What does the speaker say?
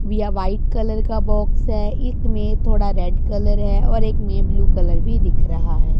बिया white colour का box है एक में थोड़ा रेड कलर है और एक में ब्लू कलर भी दिख रहा है।